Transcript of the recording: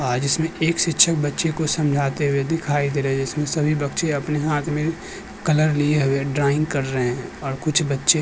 आज इसमें एक शिक्षक बच्चे को समझाते हुए दिखाई दे रही है जिसमें सभी बच्चे अपने हाथ में कलर लिए हुए ड्रॉइंग कर रहे हैं और कुछ बच्चे --